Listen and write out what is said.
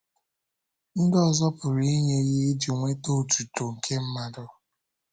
Ndị ọzọ pụrụ inye ihe iji nweta otuto nke mmadụ.